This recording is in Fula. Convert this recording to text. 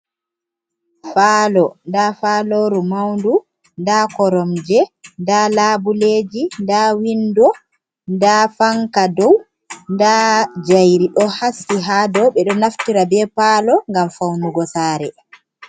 Falo nda faloru maundu, nda koromje, nda labuleji, nda windo, nda fanka dow nda jayri ɗo haski ha dow, ɓeɗo naftira be palo ngam faunugo sare.